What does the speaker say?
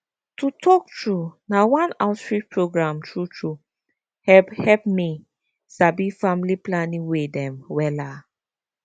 to talk true na one outreach program true true hep hep me sabi family planning way dem wella